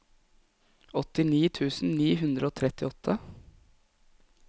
åttini tusen ni hundre og trettiåtte